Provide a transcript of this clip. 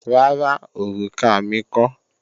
Rárá, òrùka mi kọ́